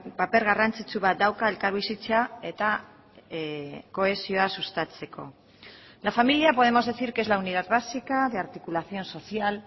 paper garrantzitsu bat dauka elkarbizitza eta kohesioa sustatzeko la familia podemos decir que es la unidad básica de articulación social